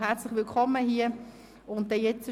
Herzlich willkommen im Grossen Rat.